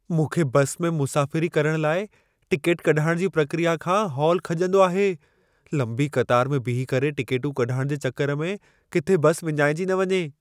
मूंखे बस में मुसाफ़िरी करण लाइ टिकेट कढाइण जी प्रक्रिया खां हौल खॼंदो आहे। लंबी क़तार में बीही करे टिकेटूं कढाइण जे चकर में किथे बस विञाइजी न वञे।